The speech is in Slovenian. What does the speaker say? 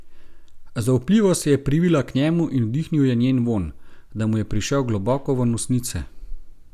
Zaupljivo se je privila k njemu in vdihnil je njen vonj, da mu je prišel globoko v nosnice.